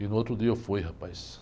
E no outro dia eu fui, rapaz.